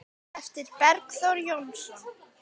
eftir Bergþór Jónsson